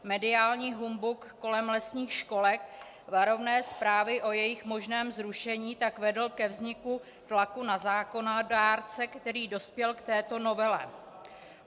Mediální humbuk kolem lesních školek, varovné zprávy o jejich možném zrušení tak vedly ke vzniku tlaku na zákonodárce, který dospěl k této novele.